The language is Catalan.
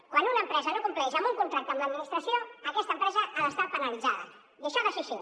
quan una empresa no compleix un contracte amb l’administració aquesta empresa ha d’estar penalitzada i això ha de ser així